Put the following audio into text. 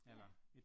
Ja